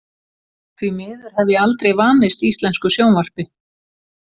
Því miður hef ég aldrei vanist íslensku sjónvarpi.